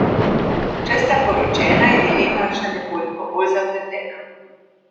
Če sta poročena, je dilema še nekoliko bolj zapletena.